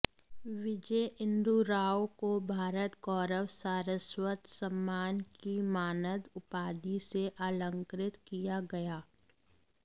विजय इन्दु राव को भारत गौरव सारस्वत सम्मान की मानद उपाधि से अलंकृत किया गया